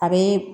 A bɛ